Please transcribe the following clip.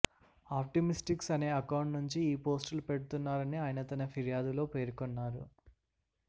optimistics అనే account నుంచి ఈ పోస్టులు పెడుతున్నారని ఆయన తన ఫిర్యాదులో పేర్కొన్నారు